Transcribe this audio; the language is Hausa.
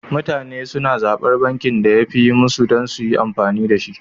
Mutane suna zaɓar bankin da yafi yi musu dan suyi amfani dashi